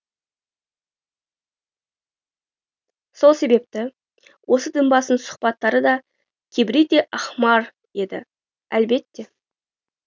сол себепті осы дінбасының сұхбаттары да кибрити әһмар еді әлбетте